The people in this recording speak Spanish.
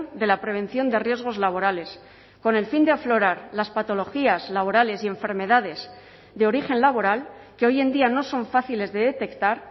de la prevención de riesgos laborales con el fin de aflorar las patologías laborales y enfermedades de origen laboral que hoy en día no son fáciles de detectar